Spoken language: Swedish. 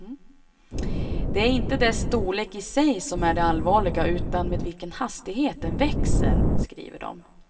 Det är inte dess storlek i sig som är det allvarliga utan med vilken hastighet den växer, skriver de.